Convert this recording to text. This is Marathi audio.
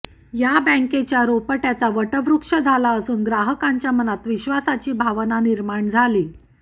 या बँकेच्या रोपटय़ाचा वटवृक्ष झाला असून ग्राहकांच्या मनात विश्वासाची भावना निर्माण झाली